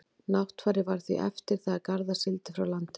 náttfari varð því eftir þegar garðar sigldi frá landinu